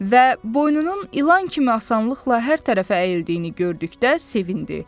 Və boynunun ilan kimi asanlıqla hər tərəfə əyildiyini gördükdə sevindi.